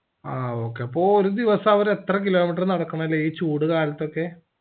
ആ okay അപ്പൊ ഒരു ദിവസം അവര് എത്ര kilometer നടക്കാണല്ലേ ഈ ചൂടുകാലത്തൊക്കെ